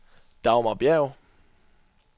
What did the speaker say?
Dagmar Bjerg